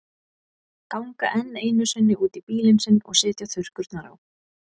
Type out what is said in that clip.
Ganga enn einu sinni út í bílinn sinn og setja þurrkurnar á.